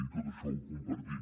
i tot això ho compartim